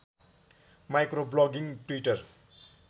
micro blogging Twitter